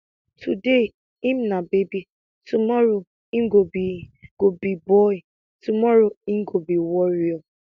today im na baby tomorrow im go be go be boy tomorrow im go be warrior